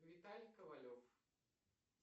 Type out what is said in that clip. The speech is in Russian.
виталий ковалев